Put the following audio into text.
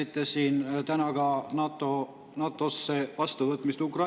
Te rääkisite täna siin Ukraina vastuvõtmisest NATO-sse.